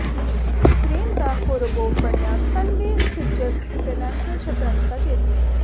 Ukraine ਦਾ Korobov ਬਣਿਆ Sunway Sitges international ਸ਼ਤਰੰਜ ਦਾ ਜੇਤੂ